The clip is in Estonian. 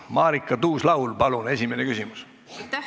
Marika Tuus-Laul, palun esimene küsimus!